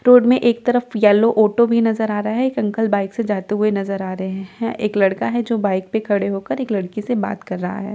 में एक तरफ येलो ऑटो भी नजर आ रहा है एक अंकल बाइक से जाते हुए नजर आ रहे हैं एक लड़का है जो बाइक पे खड़े होकर एक लड़की से बात कर रहा है।